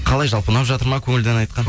қалай жалпы ұнап жатыр ма көңілді ән айтқан